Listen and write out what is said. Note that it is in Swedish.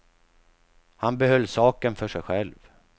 Han behöll saken för sig själv.